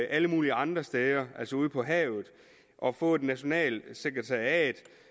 alle mulige andre steder altså ude på havet og få et nationalt sekretariat